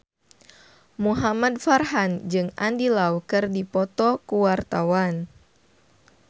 Muhamad Farhan jeung Andy Lau keur dipoto ku wartawan